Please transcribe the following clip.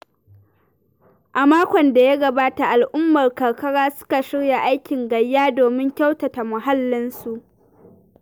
A makon da ya gabata al'ummar karkara suka shirya aikin gayya domin kyautata muhallinsu